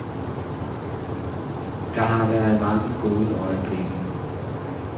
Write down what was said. Der har været mange gode øjeblikke.